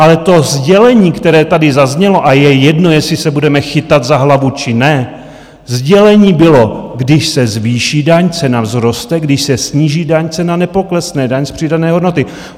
Ale to sdělení, které tady zaznělo a je jedno, jestli se budeme chytat za hlavu či ne, sdělení bylo, když se zvýší daň, cena vzroste, když se sníží daň, cena nepoklesne, daň z přidané hodnoty.